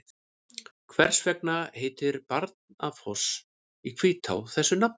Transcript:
Hvers vegna heitir Barnafoss í Hvítá þessu nafni?